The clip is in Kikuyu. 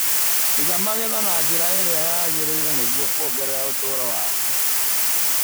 Iga magetha na njĩra ĩria yagĩrĩire nĩguo kuongerera ũtũro wamo.